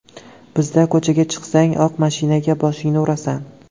Bizda ko‘chaga chiqsang, oq mashinaga boshingni urasan.